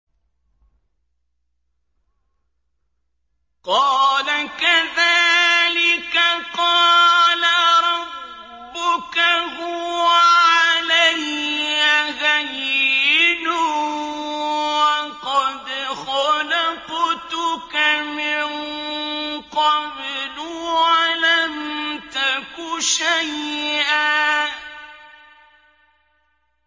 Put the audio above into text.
قَالَ كَذَٰلِكَ قَالَ رَبُّكَ هُوَ عَلَيَّ هَيِّنٌ وَقَدْ خَلَقْتُكَ مِن قَبْلُ وَلَمْ تَكُ شَيْئًا